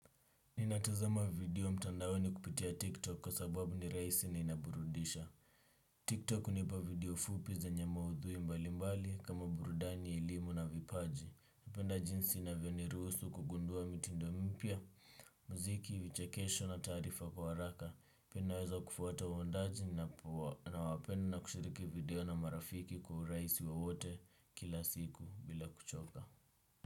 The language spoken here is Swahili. Ninatazama video mtandaoni kupitia tiktok kwa sababu ni rahisi na inaburudisha Tiktok hunipa video fupi zenye maudhui mbali mbali kama burudani elimu na vipaji. Napenda jinsi inavyoniruhusu kugundua mitindo mipya, muziki, vichekesho na taarifa kwa haraka pia naweza kufuata waundaji nawapenda na kushiriki video na marafiki kwa urahisi wowote kila siku bila kuchoka.